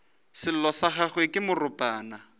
sello sa gagwe ke moropana